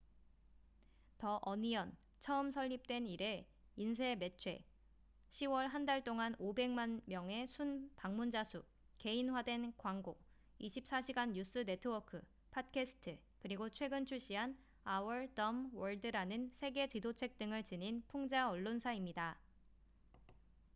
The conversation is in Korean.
"the onion 처음 설립된 이래 인쇄 매체 10월 한 달 동안 500만 명의 순 방문자 수 개인화된 광고 24시간 뉴스 네트워크 팟캐스트 그리고 최근 출시한 "our dumb world""라는 세계 지도책 등을 지닌 풍자 언론사입니다.